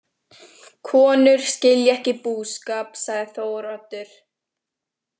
Konur skilja ekki búskap, sagði Þóroddur.